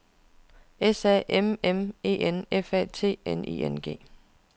S A M M E N F A T N I N G